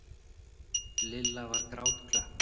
Lilla var grátklökk.